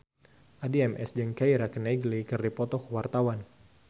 Addie MS jeung Keira Knightley keur dipoto ku wartawan